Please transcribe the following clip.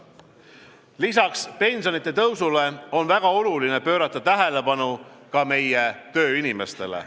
Lisaks pensionide tõusule on väga oluline pöörata tähelepanu ka meie tööinimestele.